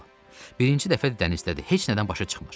Birinci dəfə dənizdədir, heç nədən başa çıxmır.